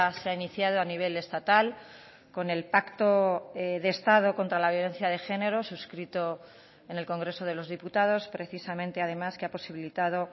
se ha iniciado a nivel estatal con el pacto de estado contra la violencia de género suscrito en el congreso de los diputados precisamente además que ha posibilitado